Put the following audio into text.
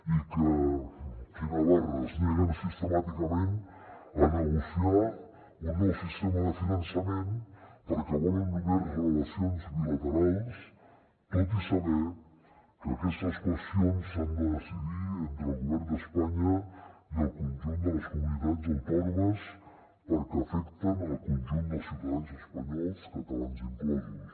i que quina barra es neguen sistemàticament a negociar un nou sistema de finançament perquè volen només relacions bilaterals tot i saber que aquestes qüestions s’han de decidir entre el govern d’espanya i el conjunt de les comunitats autònomes perquè afecten el conjunt dels ciutadans espanyols catalans inclosos